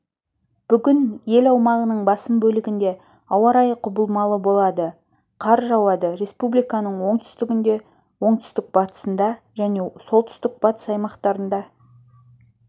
бүгін ел аумағының басым бөлігінде ауа-райы құбылмалы болады қар жауады республиканың оңтүстігінде оңтүстік-батысында және солтүстік-батыс аймақтарында